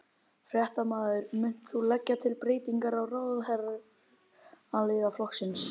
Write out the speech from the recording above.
Fréttamaður: Munt þú leggja til breytingar á ráðherraliði flokksins?